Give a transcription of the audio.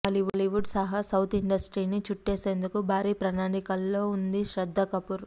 బాలీవుడ్ సహా సౌత్ ఇండస్ట్రీస్ని చుట్టేసేందుకు భారీ ప్రణాళికల్లో ఉంది శ్రద్ధా కపూర్